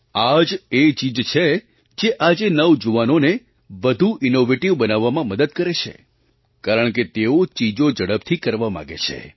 આ જ એ ચીજ છે જે આજે નવજુવાનોને વધુ ઇન્નૉવેટિવ બનવામાં મદદ કરે છે કારણકે તેઓ ચીજો ઝડપથી કરવા માગે છે